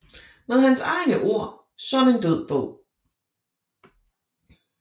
Med hans egne ord som en død bog